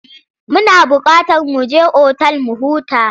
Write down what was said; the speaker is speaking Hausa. Muna buƙatar mu je otal mu huta.